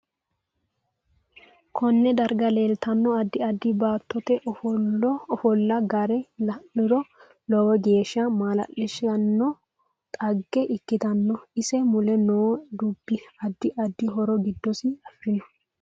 Konne darga leeltanno addi addi baatote ofolla gari la'niro lowo geesha malalsiisanona xagge ikkitanno ise mule noo dubbi addi addi horo giddosi afirinno